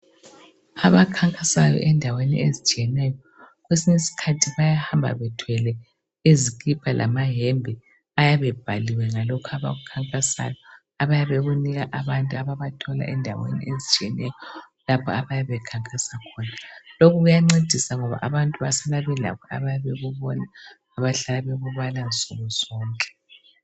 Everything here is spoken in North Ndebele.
Abakhankasayo endaweni ezitshiyeneyo, kwesinye isikhathi bayahamba bethwele izikipa lamayembe ayabe ebhaliwe ngalokhu abakukhankasayo abayabe bekunika abantu ababathola endaweni ezitshiyeneyo lapho abayabe bekhankasa khona. Lokhu kuyancedisa ngoba abantu basala belakho abayabe bekubona bahlale bekubala nsukuzonke.